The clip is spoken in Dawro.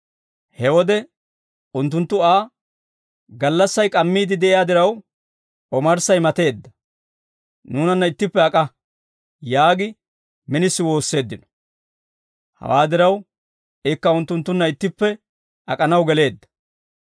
He wode unttunttu Aa, «Gallassay k'ammiidde de'iyaa diraw, omarssay mateedda; nuunanna ittippe ak'a!» yaagi minisi woosseeddino. Hawaa diraw, ikka unttunttunna ittippe ak'anaw geleedda.